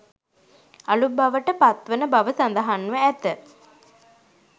අළු බවට පත්වන බව සඳහන්ව ඇත